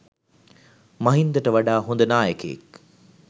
මහින්දට වඩා හොද නායකයෙක්